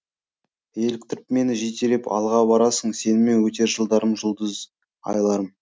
еліктіріп мені жетелеп алға барасың сенімен өтер жылдарым жұлдыз айларым